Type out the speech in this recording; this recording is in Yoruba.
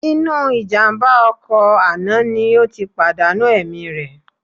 Inú ìjàmbá ọkọ̀ àná ni ó ti pàdánù ẹ̀mí rẹ̀